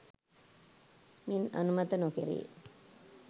මින් අනුමත නොකෙරේ